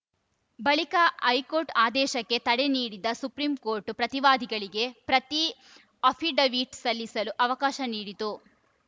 ಬಳಿಕ ಹೈಕೋರ್ಟ್‌ ಆದೇಶಕ್ಕೆ ತಡೆ ನೀಡಿದ ಸುಪ್ರೀಂ ಕೋರ್ಟ್‌ ಪ್ರತಿವಾದಿಗಳಿಗೆ ಪ್ರತಿ ಅಫಿಡವಿಟ್‌ ಸಲ್ಲಿಸಲು ಅವಕಾಶ ನೀಡಿತು